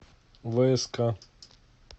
вск